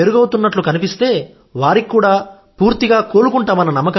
మెరుగవుతున్నట్లు కనిపిస్తే వారికి కూడా పూర్తిగా కోలుకుంటామన్న